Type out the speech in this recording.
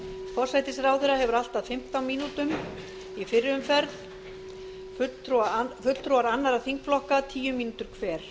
forsætisráðherra hefur allt að fimmtán mínútum í fyrri umferð fulltrúar annarra þingflokka tíu mínútur hver